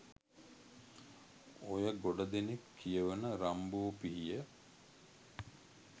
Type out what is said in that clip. ඔය ගොඩ දෙනෙක් කියවන “රම්බෝ පිහිය”.